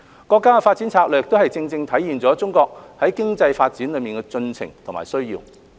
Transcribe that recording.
國家的發展策略也正正體現了中國經濟發展的進程和需要。